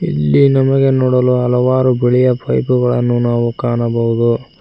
ಇಲ್ಲಿ ನಮಗೆ ನೋಡಲು ಹಲವಾರು ಬಿಳಿಯ ಪೖಪುಗಳನ್ನು ನಾವು ಕಾಣಬಹುದು.